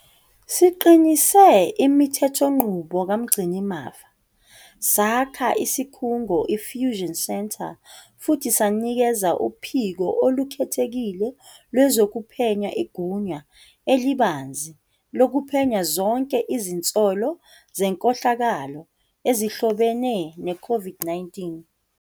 Siqinise imithethonqubo kaMgcinimafa, sakha isikhungo i-fusion centre futhi sanikeza uPhiko Olukhethekile Lwezokuphenya igunya elibanzi lokuphenya zonke izinsolo zenkohlakalo ezihlobene ne-COVID-19.